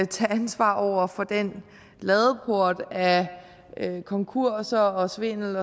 tage ansvar over for den ladeport af konkurser og svindel